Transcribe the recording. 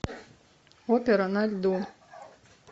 опера на льду